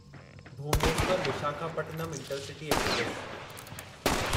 Bhubaneswar Visakhapatnam intercity express